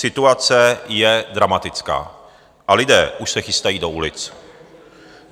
Situace je dramatická a lidé už se chystají do ulic.